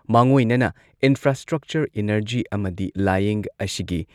ꯃꯥꯡꯑꯣꯏꯅꯅ infrastructure, energy ꯑꯃꯗꯤ ꯂꯥꯢꯌꯦꯡ ꯑꯁꯤꯒꯤ